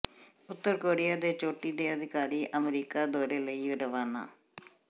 ਉੱਤਰ Korea ਦੇ ਚੋਟੀ ਦੇ ਅਧਿਕਾਰੀ ਅਮਰੀਕਾ ਦੌਰੇ ਲਈ ਰਵਾਨਾ